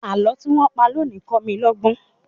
Àlọ́ tí wọ́n pa lónìí kọ́ mi lọ́gbọ́n.